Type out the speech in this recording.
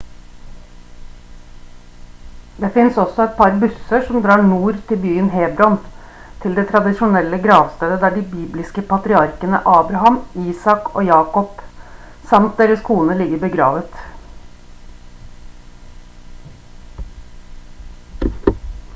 det finnes også et par busser som drar mot nord til byen hebron til det tradisjonelle gravstedet der de bibelske patriarkene abraham isak jakob samt deres koner ligger begravet